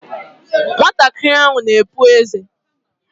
Nwatakịrị ahụ na-epu ézé.